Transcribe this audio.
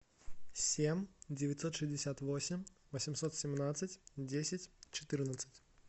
семь девятьсот шестьдесят восемь восемьсот семнадцать десять четырнадцать